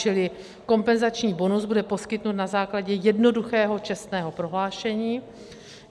Čili kompenzační bonus bude poskytnut na základě jednoduchého čestného prohlášení.